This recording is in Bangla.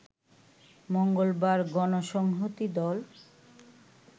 মঙ্গলবার গণসংহতি দল